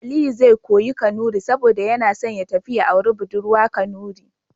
Aliyu zai koya Kanuri saboda yana son ya tafi ya auri budurwa Kanuri.